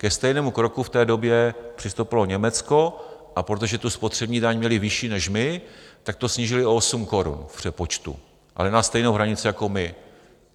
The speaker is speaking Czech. Ke stejnému kroku v té době přistoupilo Německo, a protože tu spotřební daň měli vyšší než my, tak to snížili o osm korun v přepočtu, ale na stejnou hranici jako my.